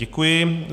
Děkuji.